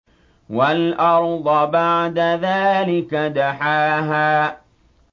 وَالْأَرْضَ بَعْدَ ذَٰلِكَ دَحَاهَا